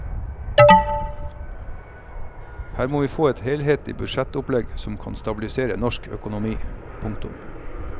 Her må vi få et helhetlig budsjettopplegg som kan stabilisere norsk økonomi. punktum